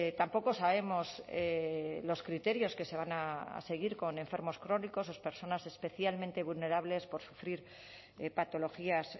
tampoco sabemos los criterios que se van a seguir con enfermos crónicos o personas especialmente vulnerables por sufrir patologías